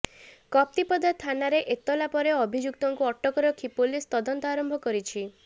କପ୍ତିପଦା ଥାନାରେ ଏତଲା ପରେ ଅଭିଯୁକ୍ତଙ୍କୁ ଅଟକ ରଖି ପୁଲିସ ତଦନ୍ତ ଆରମ୍ଭ କରିଛି